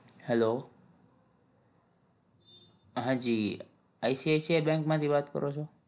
hello હાજી ICICI bank માંથી વાત કરો છો?